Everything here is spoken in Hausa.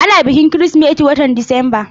Ana bikin Kirsimeti a watan Disamba.